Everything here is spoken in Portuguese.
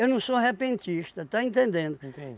Eu não sou repentista, está entendendo?